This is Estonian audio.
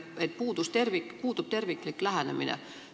Te nimetasite, et puudub terviklik lähenemine.